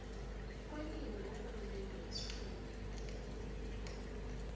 kwelimi kurhulumende wesifunda